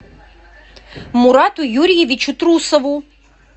мурату юрьевичу трусову